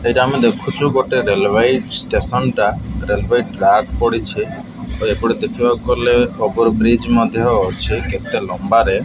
ଏଇଟା ଆମେ ଦେଖୁଚୁ ଗୋଟେ ରେଲବାଇ ଷ୍ଟେସନ ଟା ରେଲୱାଇ ଟ୍ରାକ ପଡ଼ିଛି। ଆଉ ଏପଟେ ଦେଖିବାକୁ ଗଲେ ଓଭର ବ୍ରିଜ ମଧ୍ୟ ଅଛି କେତେ ଲମ୍ବାରେ।